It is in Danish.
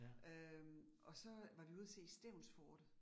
Øh og så var vi ude at se Stevnsfortet